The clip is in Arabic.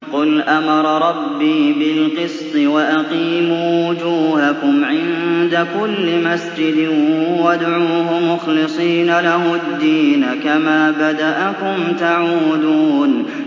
قُلْ أَمَرَ رَبِّي بِالْقِسْطِ ۖ وَأَقِيمُوا وُجُوهَكُمْ عِندَ كُلِّ مَسْجِدٍ وَادْعُوهُ مُخْلِصِينَ لَهُ الدِّينَ ۚ كَمَا بَدَأَكُمْ تَعُودُونَ